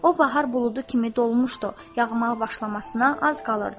O bahar buludu kimi dolmuşdu, yağmağa başlamasına az qalırdı.